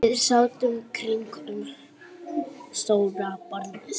Við sátum kringum stóra borðið.